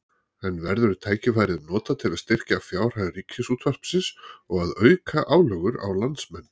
En verður tækifærið notað til að styrkja fjárhag Ríkisútvarpsins og að auka álögur á landsmenn?